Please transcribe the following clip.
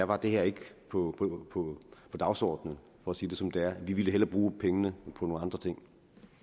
var det her ikke på dagsordenen for at sige det som det er ville vi hellere bruge pengene på nogle andre ting